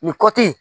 Nin kɔti